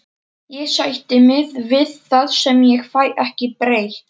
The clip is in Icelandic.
Ég sætti mig við það sem ég fæ ekki breytt.